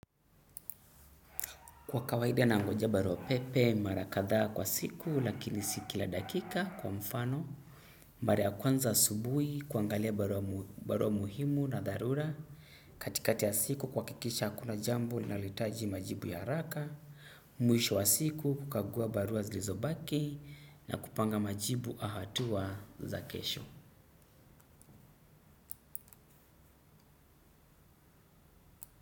Kwa kawaida na ngoja barua pepe, mara kadhaa kwa siku lakini si kila dakika kwa mfano. Mara ya kwanza asubui, kuangalia barua muhimu na dharura. Katikati ya siku kuakikisha hakuna jambo, linaloitaji majibu ya araka. Mwisho wa siku kukagua barua zilizo baki na kupanga majibu au hatua za kesho.